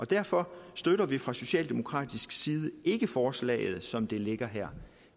derfor støtter vi fra socialdemokratisk side ikke forslaget som det ligger her